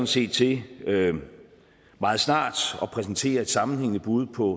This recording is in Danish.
set til meget snart at præsentere et sammenhængende bud på